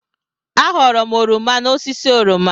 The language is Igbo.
Aghọọrọ m oroma n'osisi oroma.